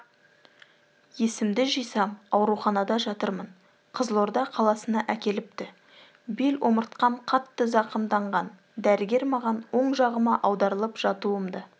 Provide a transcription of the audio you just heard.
есімді жисам ауруханада жатырмын қызылорда қаласына әкеліпті беломыртқам қатты зақымданған дәрігер маған оң жағыма аударылып жатуымды